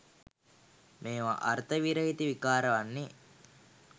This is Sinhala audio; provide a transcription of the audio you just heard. මේවා අර්ථ විරහිත විකාර වන්නේ